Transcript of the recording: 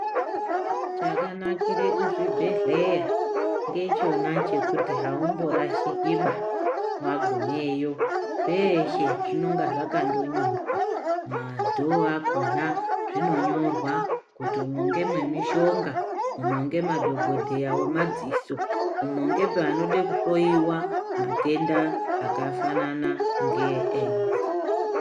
Chakanakire kuzvibhedhlera ngechona chekuti haumborashikiba wagumeyo, peshe zvinonga zvakandonyorwa madhoo akona zvinonyorwa kuti umwo ngemwemishonga, umo ngemadhokodheya wemadziso , umo ngepe anode kuhloiwa matenda akafanana ne AIDS.